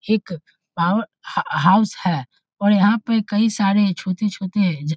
एक power house है और यहाँ पे कई सारे छोटे-छोटे जा --